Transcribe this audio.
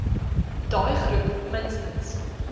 daai groep minstens